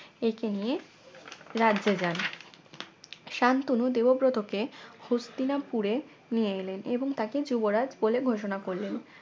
একে নিয়ে রাজ্যে যান শান্তনু দেবব্রতকে হস্তিনাপুরে নিয়ে গেলেন এবং তাকে যুবরাজ বলে ঘোষণা করলেন